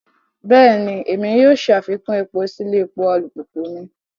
Bẹẹni, Èmí yóò ṣafikun èpo si ilé epo alupupu mi